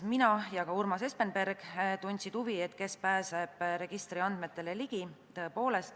Mina ja ka Urmas Espenberg tundsime huvi, kes pääseb registri andmetele ligi.